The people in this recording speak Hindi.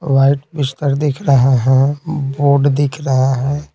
वाइट बिस्तर दिख रहे हैं बोर्ड दिख रहे हैं।